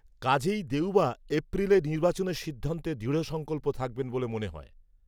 কাজেই দেউবা এপ্রিলে নির্বাচনের সিদ্ধান্তে দৃঢ়সংকল্প থাকবেন বলে মনে হয়